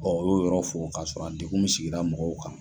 U y'o yɔrɔ fo k'a sɔrɔ degun bɛ sigida mɔgɔw kan.